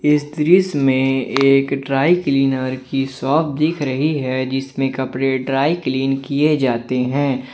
इस दृश्य में एक ड्राई क्लीनर की शॉप दिख रही है जिसमें कपड़े ड्राई क्लीन किए जाते हैं।